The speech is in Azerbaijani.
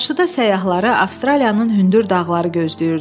Qarşıda səyyahları Avstraliyanın hündür dağları gözləyirdi.